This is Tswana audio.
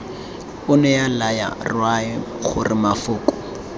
onea laya morwae gore mafoko